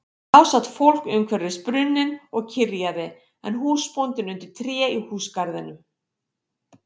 Þá sat fólkið umhverfis brunninn og kyrjaði en húsbóndinn undir tré í húsagarðinum.